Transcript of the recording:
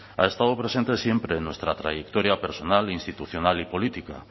ha estado presente siempre en nuestra trayectoria personal e institucional y política